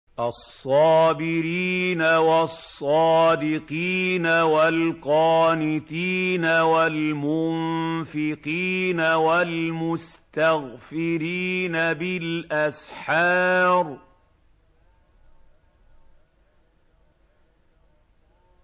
الصَّابِرِينَ وَالصَّادِقِينَ وَالْقَانِتِينَ وَالْمُنفِقِينَ وَالْمُسْتَغْفِرِينَ بِالْأَسْحَارِ